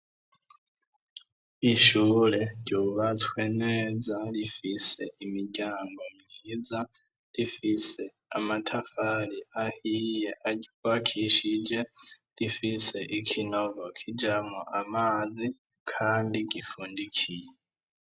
Ishure ryubatswe neza rifise imiryango myiza. Rifise amatafari ahiye aryubakishije, rifise ikinogo kijamwo amazi, kandi gifundikiye.